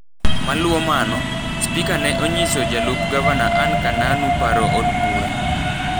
Maluo mano, spika ne onyiso jalup gavana Anne Kananu paro mar od bura.